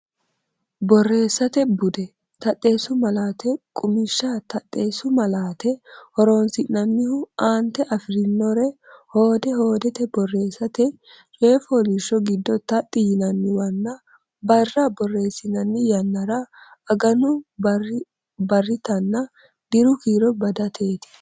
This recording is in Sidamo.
Borreessate Bude: Taxxeessu Malaate Qummishsha Taxxeessu malaate horonsi’nannihu: aante afi’rinore hoode hoodete borreessate, coy fooliishsho giddo taxxi yinanniwanna barra borreessinanni yannara aganu barritanna diru kiiro badateeti.